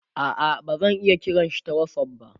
a'a bazan iya kiranshi ta whatsapp ba